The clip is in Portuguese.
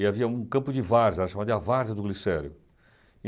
E havia um campo de várzea, era chamado de A Várzea do Glicério.